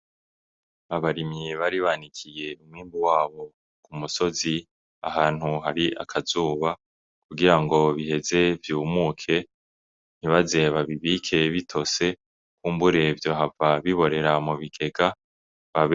Abarimyi bari banikiye umwimbu wabo ku musozi ahantu hari akazuba kugira ngo biheze vyumuke ntibaze babibike bitose kumbure vyohava biborera mu bigega.